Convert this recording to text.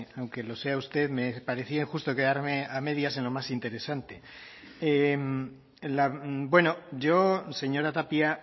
aunque lo sea usted me parecía injusto quedarme a medias en lo más interesante bueno yo señora tapia